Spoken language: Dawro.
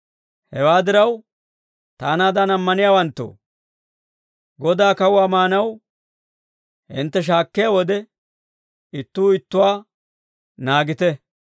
Hewaa diraw, taanaadan ammaniyaawanttoo, Godaa kawuwaa maanaw hintte shiik'iyaa wode, ittuu ittuwaa naagite.